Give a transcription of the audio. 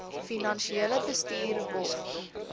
finansiële bestuur wofb